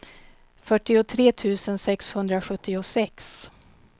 fyrtiotre tusen sexhundrasjuttiosex